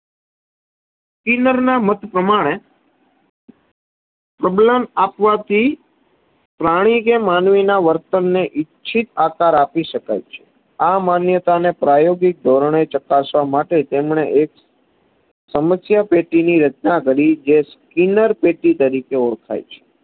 સમશ્યા પેટીની રચના કરી જે સ્કિનનર પેટી તરીકે ઓળખાય છે.